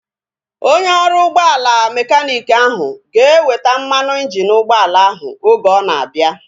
Onye ọrụ ụgbọala mekaniiki ahu ga-eweta mmanụ injini ụgbọala ahu oge ọ na-abịa